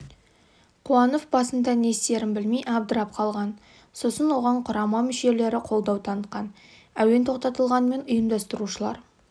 қуанов басында не істерін білмей абдырап қалған сосын оған құрама мүшелері қолдау танытқан әуен тоқтатылғанымен ұйымдастырушылар